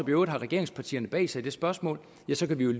øvrigt har regeringspartierne bag sig i det spørgsmål ja så kan vi